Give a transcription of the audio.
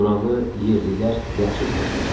Buranı yerlilər yaxşı tanıyırdı.